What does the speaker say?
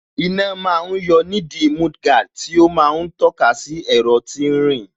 Iná ma ń yọ nídìí mudguard tí ó ma ń tọ́ka sí ẹ̀rọ tí ń rìn